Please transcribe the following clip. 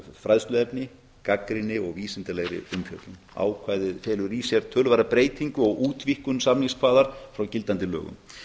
fræðsluefni gagnrýni og vísindalegri umfjöllun ákvæðið felur í sér töluverða breytingu og útvíkkun samningskvaða frá gildandi lögum